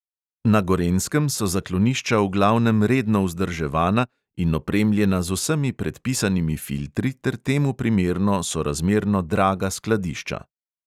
Na gorenjskem so zaklonišča v glavnem redno vzdrževana in opremljena z vsemi predpisanimi filtri ter temu primerno sorazmerno draga skladišča.